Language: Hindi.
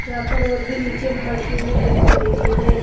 यहां पर और भी नीचे मशीनें दिखाई दे रही हैं।